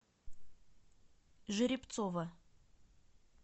жеребцова